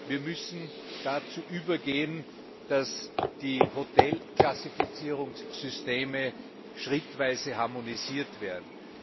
Wir müssen dazu übergehen, dass die Hotelklassifizierungssysteme schrittweise harmonisiert werden.